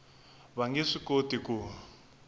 va nge swi koti ku